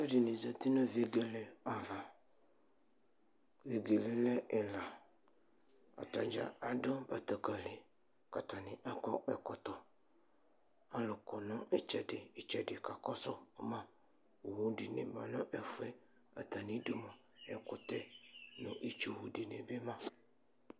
Alʋɛdini zati nʋ vegele ava, vegele yɛlɛ ɛla, atadza adʋ batakali, kʋ atani akɔ ɛkɔtɔ ayɔ kɔnʋ itsɛdi itsɛdi kakɔsʋ ma Owʋ dini manʋ ɛfʋ yɛ atami idʋ ɛkʋtɛ nʋ itsu dinibi ma